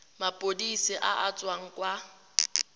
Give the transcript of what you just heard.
maphodiseng a a tswang kwa